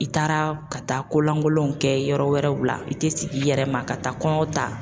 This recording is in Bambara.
I taara ka taa kolankolonw kɛ yɔrɔ wɛrɛw la i te sigi i yɛrɛ ma ka taa kɔnɔ ta.